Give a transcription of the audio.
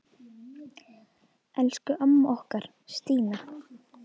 Elsku amma okkar, Stína.